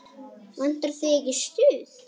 Vantar þig ekki stuð?